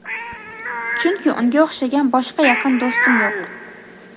Chunki unga o‘xshagan boshqa yaqin do‘stim yo‘q.